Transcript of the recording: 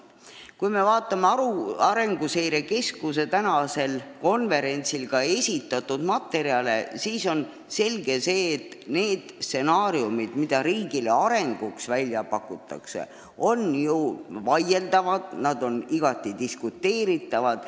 Kui me vaatame Arenguseire Keskuse tänasel konverentsil esitatud materjale, siis on selge, et arengustsenaariumid, mida riigile välja pakutakse, on vaieldavad, igati diskuteeritavad.